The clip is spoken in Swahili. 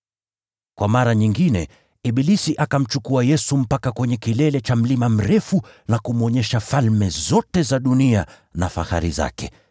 Kwa mara nyingine, ibilisi akamchukua Yesu mpaka kwenye kilele cha mlima mrefu na kumwonyesha falme zote za dunia na fahari zake,